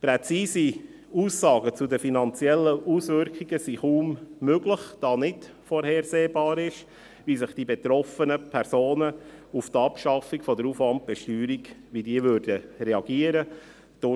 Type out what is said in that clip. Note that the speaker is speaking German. Präzise Aussagen zu den finanziellen Auswirkungen sind kaum möglich, da nicht vorhersehbar ist, wie die betroffenen Personen auf die Abschaffung der Aufwandbesteuerung reagieren würden.